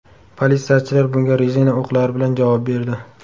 Politsiyachilar bunga rezina o‘qlari bilan javob berdi.